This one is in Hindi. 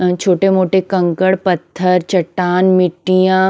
अ छोटे-मोटे कंकड़ पत्थर चट्टान मिट्टियाँ--